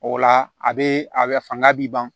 O la a be a be fanga b'i ban